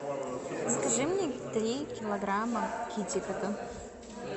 закажи мне три килограмма китикета